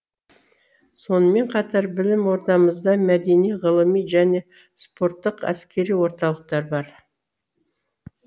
сонымен қатар білім ордамызда мәдени ғылыми және спорттық әскери орталықтар бар